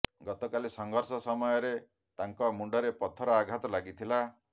ଗତକାଲି ସଂଘର୍ଷ ସମୟରେ ତାଙ୍କ ମୁଣ୍ଡରେ ପଥର ଆଘାତ ଲାଗିଥିଲା